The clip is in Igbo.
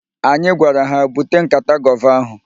Anyị gwara ha, "bute nkata gova ahụ"!